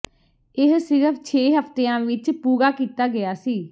ਇਹ ਸਿਰਫ ਛੇ ਹਫ਼ਤਿਆਂ ਵਿੱਚ ਪੂਰਾ ਕੀਤਾ ਗਿਆ ਸੀ